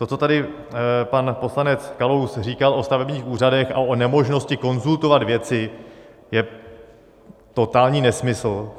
To, co tady pan poslanec Kalous říkal o stavebních úřadech a o nemožnosti konzultovat věci, je totální nesmysl.